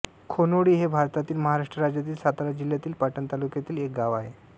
खोनोळी हे भारतातील महाराष्ट्र राज्यातील सातारा जिल्ह्यातील पाटण तालुक्यातील एक गाव आहे